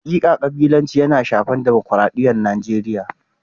Hakika kabilanci yana shafar dimokradiyyar Najeriya.